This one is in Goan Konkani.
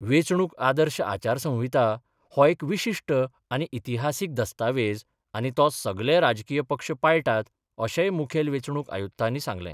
वेचणूक आदर्श आचारसंहिता हो एक विशिष्ट आनी इतिहासिक दस्तावेज आनी तो सगले राजकीय पक्ष पाळटात अशेय मुखेल वेचणूक आयुक्तानी सांगले.